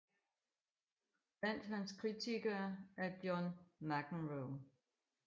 Blandt hans kritikere er John McEnroe